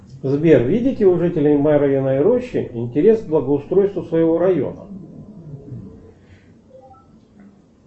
сбер видите у жителей марьиной рощи интерес к благоустройству своего района